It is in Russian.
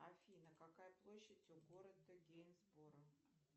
афина какая площадь у города гейнсборо